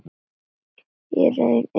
Í raun engu.